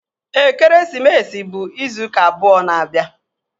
Ekeresimesi bụ izu ụka abụọ na-abịa